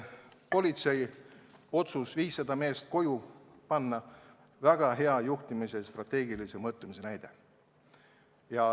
Politsei otsus viissada meest koju saata oli väga hea juhtimise ja strateegilise mõtlemise näide.